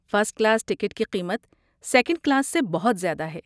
First class ticket کی قیمت second class سے بہت زیادہ ہے۔